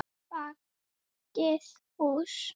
Bakið hús.